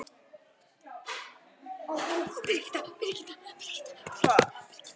Hún fann hvernig súrt og hressandi bragðið kipraði góminn í henni saman